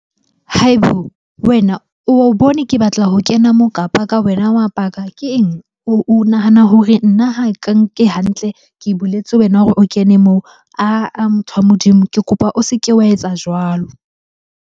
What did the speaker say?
Wena, o bone ke batla ho kena moo ka park-a wena wa park-a. Ke eng? O nahana hore nna ha ke nke hantle, ke buletse wena hore o kene moo. Ah-ah motho wa Modimo, ke kopa o se ke wa etsa jwalo.